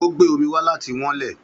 Ó gbé omi wá láti wán ilẹ̀